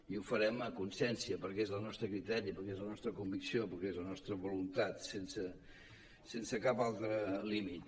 i ho farem a consciència perquè és el nostre criteri perquè és la nostra convicció perquè és la nostra voluntat sense cap altre límit